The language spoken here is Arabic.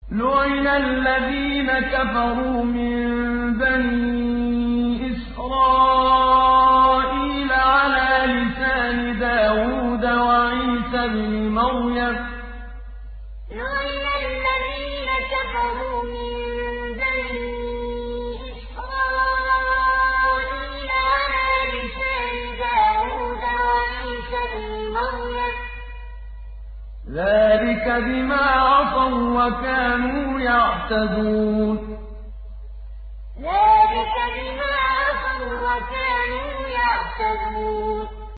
لُعِنَ الَّذِينَ كَفَرُوا مِن بَنِي إِسْرَائِيلَ عَلَىٰ لِسَانِ دَاوُودَ وَعِيسَى ابْنِ مَرْيَمَ ۚ ذَٰلِكَ بِمَا عَصَوا وَّكَانُوا يَعْتَدُونَ لُعِنَ الَّذِينَ كَفَرُوا مِن بَنِي إِسْرَائِيلَ عَلَىٰ لِسَانِ دَاوُودَ وَعِيسَى ابْنِ مَرْيَمَ ۚ ذَٰلِكَ بِمَا عَصَوا وَّكَانُوا يَعْتَدُونَ